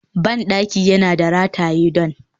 bandaki da yana rataye don